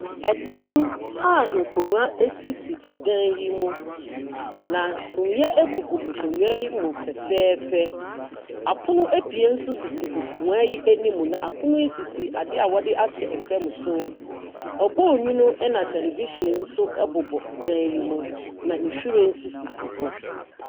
Ɛdɛm, a nkonwa esisi ɔdan yi mu na sumiɛ egugu nkonwa yi mu fɛfɛɛfɛ. Apon ɛbien nso sisi nkonwa yi ɛnim na apono yi sisi adeɛ wɔde ase fam so. Ɔbɔnyunu ɛna television nso ɛbobɔ dan no mu. Na nwhiren nso sisi hɔ.